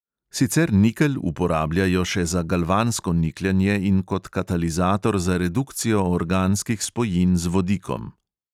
Sicer nikelj uporabljajo še za galvansko nikljanje in kot katalizator za redukcijo organskih spojin z vodikom.